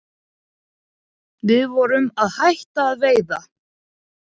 Við vorum að hætta að veiða